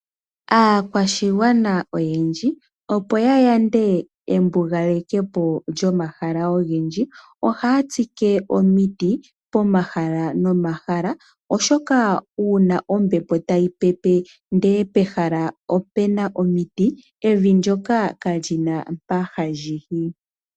Aakwashigwana oyendji opo ya yande embugalekepo lyomahala ogendji ohaya tsike omiti, pomahala nomahala, oshoka uuna ombepo tayi pepe ndele pehala opuna omiti, evi ndyoka kali na mpo hali yi.